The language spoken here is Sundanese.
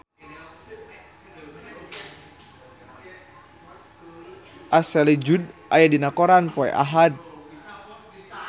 Ashley Judd aya dina koran poe Ahad